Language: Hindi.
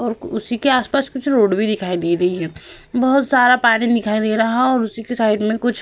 और उसी के आसपस कुछ रोड भी दिखाई दे रही है। बोहोत सारा पानी दिखाई दे रहा है और उसी के साइड में कुछ --